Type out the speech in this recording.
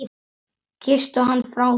Kysstu hann frá mér.